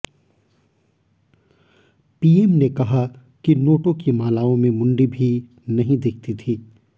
PM ने कहा की नोटों की मालाओं में मुंडी भी नहीं दिखती थी